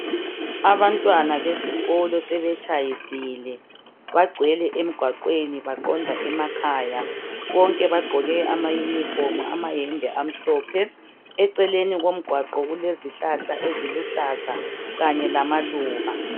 Abantwana besikolo sebetshayisile bagcwele emgwaqweni baqonda emakhaya bonke bagqoke amayunifomu amayembe amhlophe eceleni komgwaqo kulezihlahla eziluhlaza kanye lamaluba.